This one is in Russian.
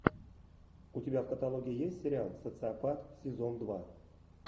у тебя в каталоге есть сериал социопат сезон два